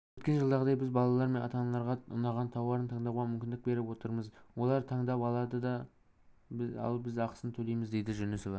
өткен жылдағыдай біз балалар мен ата-аналарға ұнаған тауарын таңдауға мүмкіндік беріп отырмыз олар таңдап алады ал біз ақысын төлейміз дейді жүнісова